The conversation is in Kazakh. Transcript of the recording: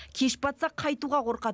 кеш батса қайтуға қорқады